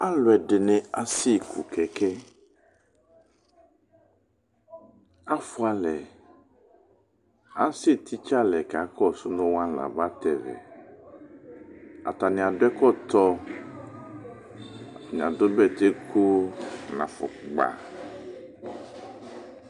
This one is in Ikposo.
alʊẽdïnï aṣsékũ kẽkẽ afũalẽ asétitsé alɛ kakɔnu wani la matɛ ʋǝ atania dũ ɛkɔtõ ania dũ bɛtẽ kʊ na fũkpa